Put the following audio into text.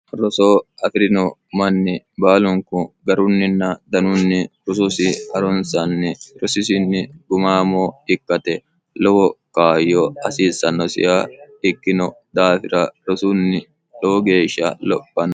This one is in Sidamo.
rosoo aki'rino manni baalunku garunninna danunni rusuusi harunsanni rosisinni gumaamoo ikkate lowo kaayyo hasiissannosiya ikkino daafira rosunni lowo geeshsha lophano